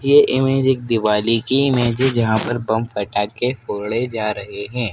ये इमेज एक दीवाली की इमेज है जहां पर बम पटाखे फोड़े जा रहे है।